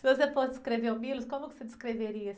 Se você fosse descrever o, como que você descreveria?